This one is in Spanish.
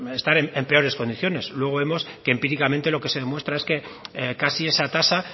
estar en peor condiciones luego vemos que empíricamente lo que se demuestra es que casi esa tasa